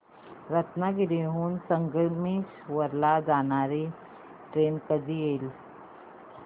रत्नागिरी हून संगमेश्वर ला जाणारी ट्रेन कधी येईल